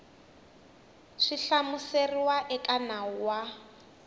swi hlamuseriwaka eka nawu wa